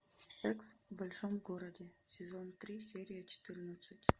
секс в большом городе сезон три серия четырнадцать